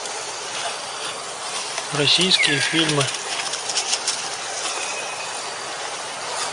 российские фильмы